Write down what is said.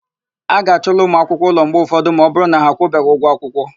A ga-achụla ụmụakwụkwọ ụlọ mgbe ụfọdụ ma ọbụrụ na ha akwụbeghi ụgwọ akwụkwọ.